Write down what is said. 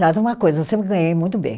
Uma coisa, eu sempre ganhei muito bem.